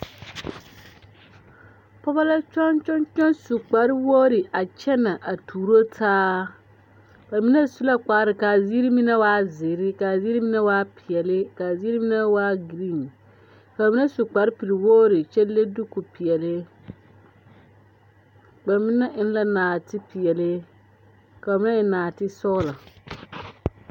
Pɔgeba la kyɔŋkyɔŋkyɔŋ su kparewogri a kyenɛ a tuuro taa ba mine su la kpare k,a Ziiri mine was zeere k,a Ziiri mine waa peɛle k,a Ziiri mine waa girin ka ba mine su kparpelwogri kyɛ le dikopeɛle ba mine eŋ la nɔɔtepeɛle ka ba mine eŋ nɔɔtesɔglɔ.